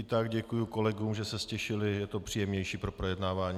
I tak děkuji kolegům, že se ztišili, je to příjemnější pro projednávání.